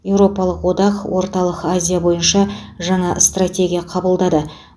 еуропалық одақ орталық азия бойынша жаңа стратегия қабылдады